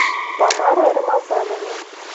тамара рамазановна